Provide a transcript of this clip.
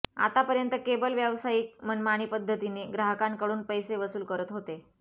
आतापर्यंत केबल व्यावसायिक मनमानी पद्धतीने ग्राहकांकडून पैसे वसूल करत होते